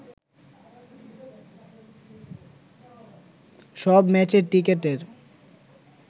সব ম্যাচের টিকেটের